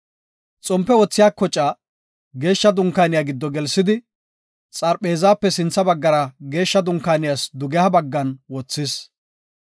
Xompe wothiya kocaa, Geeshsha Dunkaaniya giddo gelsidi, xarpheezape sintha baggara Geeshsha Dunkaaniyas dugeha baggan wothis.